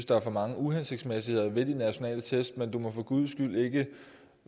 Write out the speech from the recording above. der er for mange uhensigtsmæssigheder ved de nationale test men du må for guds skyld ikke